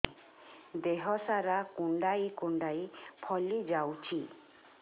ଦେହ ସାରା କୁଣ୍ଡାଇ କୁଣ୍ଡାଇ ଫଳି ଯାଉଛି